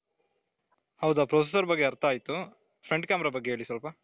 ಹೌದಾ processor ಬಗ್ಗೆ ಅರ್ಥ ಆಯ್ತು front camera ಬಗ್ಗೆ ಹೇಳಿ ಸ್ವಲ್ಪ